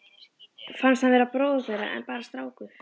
Fannst hann vera bróðir þeirra en bara strákur.